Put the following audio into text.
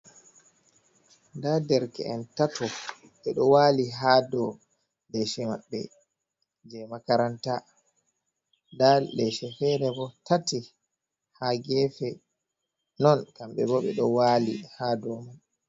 Nda nderke'en tato, ɓe ɗo waali haa dou leeshe maɓɓe je makaranta. Nda leeshe feere bo tati haa geefe, non kamɓe bo ɓe ɗo waali haa dou man.